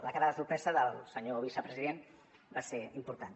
la cara de sorpresa del senyor vicepresident va ser important